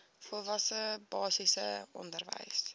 volwasse basiese onderwys